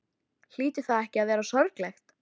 Hlýtur það ekki að vera sorglegt?